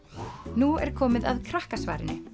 nú er komið að Krakkasvarinu